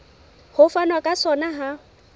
ho fanwa ka sona ha